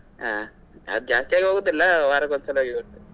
ಹಾ ಜಾಸ್ತಿಯಾಗಿ ಹೋಗುದಿಲ್ಲ ವಾರಕ್ಕೆ ಒಂದ್ ಸಲ ಹೋಗಿ ಬರ್ತೀವಿ.